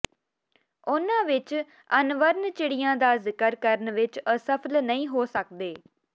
ਉਨ੍ਹਾਂ ਵਿਚ ਅਨਵਰਨ ਚਿੜੀਆ ਦਾ ਜ਼ਿਕਰ ਕਰਨ ਵਿਚ ਅਸਫਲ ਨਹੀਂ ਹੋ ਸਕਦੇ